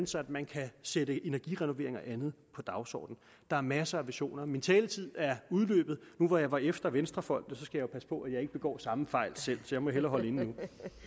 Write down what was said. så man kan sætte energirenoveringer og andet på dagsordenen der er masser af visioner min taletid er udløbet nu hvor jeg var efter venstrefolkene skal jeg jo passe på at jeg ikke begår samme fejl selv så jeg må hellere holde inde nu